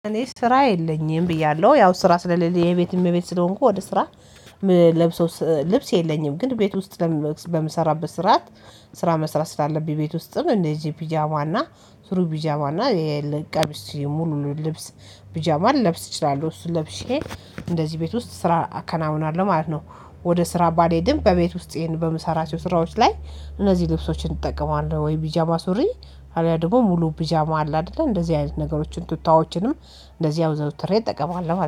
እኔ ስራ የለኝም ብያለሁ ያው ስራ ስለሌለኝ የቤት እመቤት ስለሆንኩ ወደ ስራ። ለብሶ ልብስ የለኝም ግን ቤት ውስጥ ለምን በምሰራበት ስርዓት። ስራ መስራት ስላለብኝ ቤት ውስጥም እንደዚህ ፒጃማና ስሩ ፒጃማና የለቀሚስ ሙሉ ልብስ። ቢጃማ ልለብስ እችላለሁ እሱ ለብሼ እንደዚህ ቤት ውስጥ ስራ አከናውናለሁ ማለት ነው። ወደ ስራ ባሌ ድንብ በቤት ውስጤን በምሰራቸው ስራዎች ላይ እነዚህ ልብሶችን እጠቀማለሁ ወይ ቢጃማ ሱሪ። አሊያ ደግሞ ሙሉ ቢጃማ አለ አይደለ እንደዚህ አይነት ነገሮችን ቱታዎችንም እንደዚህ አውትሬ እጠቀማለሁ